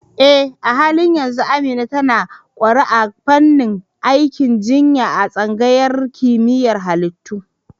Eh, a halin yanzu Amina tana ƙware a fannin aikin jinya a tsangayar kimiyyar halittu.